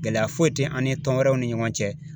Gɛlɛya foyi te an ni tɔn wɛrɛw ni ɲɔgɔn cɛ